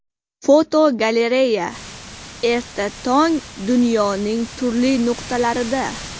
Fotogalereya: Erta tong dunyoning turli nuqtalarida.